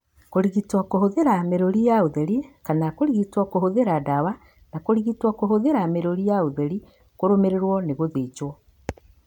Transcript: Kũrigitwo kũhũthĩra mĩrũri ya ũtheri na kana kũrigitwo kũhũthĩra ndawa, na kũrigitwo kũhũthĩra mĩrũri ya ũtheri kũrũmĩrĩirwo nĩ gũthĩnjwo.